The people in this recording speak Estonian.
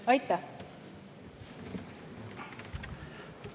Aitäh!